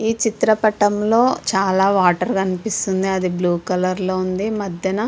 ఇ చిత్ర పటం లొ చాలా వాటర్ కనిపిస్తుంది అది బ్లూ కలర్ లో వుంది. మధ్యన --